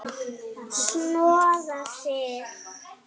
Snoða þig?